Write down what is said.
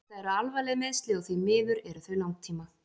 Þetta eru alvarleg meiðsli og því miður eru þau langtíma.